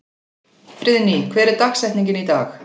Friðný, hver er dagsetningin í dag?